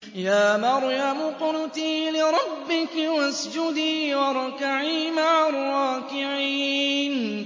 يَا مَرْيَمُ اقْنُتِي لِرَبِّكِ وَاسْجُدِي وَارْكَعِي مَعَ الرَّاكِعِينَ